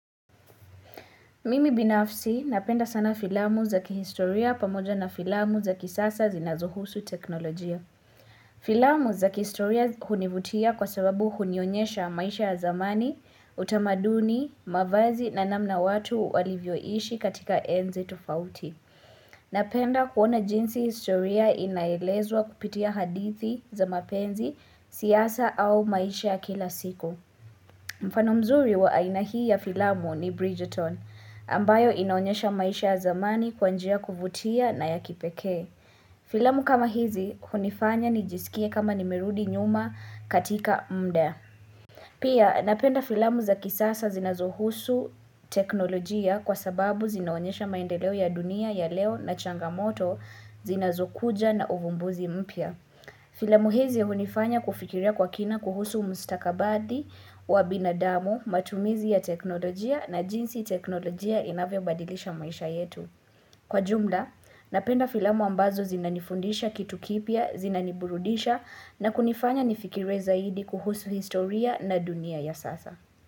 Mimi binafsi napenda sana filamu za kihistoria pamoja na filamu za kisasa zinazohusu teknolojia. Filamu za kihistoria univutia kwa sababu unionyesha maisha ya zamani, utamaduni, mavazi na namna watu walivyoishi katika enzi tofauti. Napenda kuona jinsi historia inaelezwa kupitia hadithi za mapenzi, siasa au maisha ya kila siku. Mfano mzuri wa aina hii ya filamu ni Bridgerton ambayo inaonyesha maisha ya zamani kwa njia kuvutia na ya kipekee. Filamu kama hizi hunifanya nijisikia kama nimerudi nyuma katika mda Pia napenda filamu za kisasa zinazohusu teknolojia kwa sababu zinaonyesha maendeleo ya dunia ya leo na changamoto zinazokuja na uvumbuzi mpya. Filamu hizi ya hunifanya kufikiria kwa kina kuhusu mstakabadhi wa binadamu, matumizi ya teknolojia na jinsi teknolojia inavyobadilisha maisha yetu. Kwa jumla, napenda filamu ambazo zinanifundisha kitu kipya, zinaniburudisha na kunifanya nifikire zaidi kuhusu historia na dunia ya sasa.